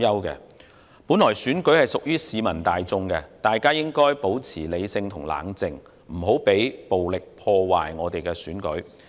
選舉本來是屬於市民大眾的，大家應保持理性和冷靜，不要讓暴力破壞選舉。